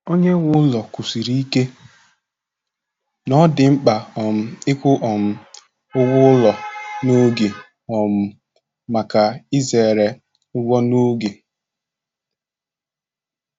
Onyenweụlọ kwusiri ike na ọ dị mkpa um ịkwụ um ụgwọ ụlọ n'oge um maka izere ụgwọ n'oge.